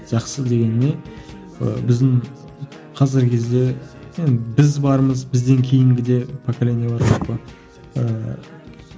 жақсы дегеніме ы біздің қазіргі кезде енді біз бармыз бізден кейінгі де поколение бар